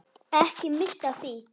Ekki missa af því.